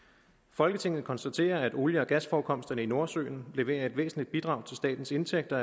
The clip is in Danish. folketinget konstaterer at olie og gasforekomsterne i nordsøen leverer et væsentligt bidrag til statens indtægter